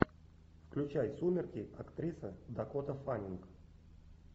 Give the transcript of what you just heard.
включай сумерки актриса дакота фаннинг